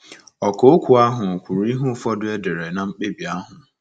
Ọkà okwu ahụ kwuru ihe ụfọdụ e dere ná mkpebi ahụ.